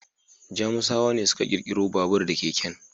Jamusawa ne suka ƙirƙiro babur da keken.